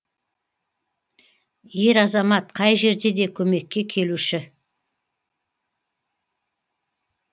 ер азамат қай жерде де көмекке келуші